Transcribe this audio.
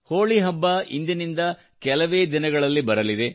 ಹೋಳಿ ಹಬ್ಬ ಇಂದಿನಿಂದ ಕೆಲವೇ ದಿನಗಳಲ್ಲಿ ಬರಲಿದೆ